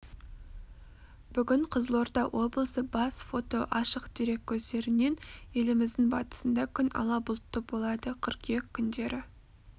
бүгін қызылорда облысы бас фото ашық дерек көздерінен еліміздің батысында күн ала бұлтты болады қыркүйек күндері